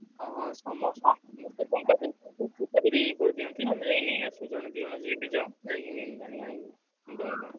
ହଁ ହଁ ସମସ୍ତେ ଟଙ୍କା ଦେଇକି ଚିଠା ବି ଦେଇ କରିଦିଅନ୍ତି, ଆଉ ମୁଁ ଯାଇ ନେଇଆସେ ଜଣେ ଦି ଜଣ ଯିଏ ବି ଯାଉ ଯାଇକି ।